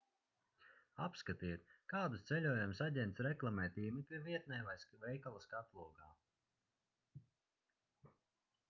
apskatiet kādus ceļojumus aģents reklamē tīmekļa vietnē vai veikala skatlogā